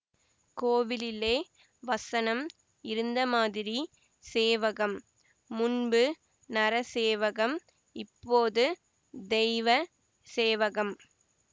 கோவிலிலே வசனம் இருந்தமாதிரி சேவகம் முன்பு நரசேவகம் இப்போது தெய்வ சேவகம்